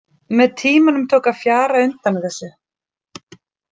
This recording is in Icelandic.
Með tímanum tók að fjara undan þessu.